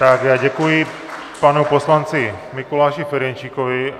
Tak já děkuji panu poslanci Mikuláši Ferjenčíkovi.